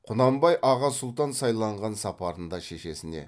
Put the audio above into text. құнанбай аға сұлтан сайланған сапарында шешесіне